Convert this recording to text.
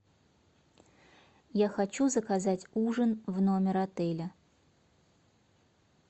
я хочу заказать ужин в номер отеля